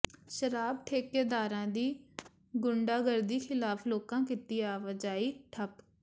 ਸ਼ਰਾਬ ਠੇਕੇਦਾਰਾਂ ਦੀ ਗੰੁਡਾਗਰਦੀ ਖਿਲਾਫ਼ ਲੋਕਾਂ ਕੀਤੀ ਆਵਾਜਾਈ ਠੱਪ